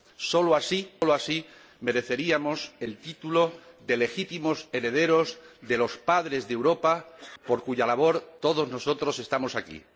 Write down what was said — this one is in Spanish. Sólo así mereceríamos el título de legítimos herederos de los padres de Europa por cuya labor todos nosotros estamos aquí.